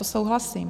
To souhlasím.